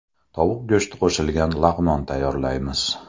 Tovuq go‘shti qo‘shilgan lag‘mon tayyorlaymiz.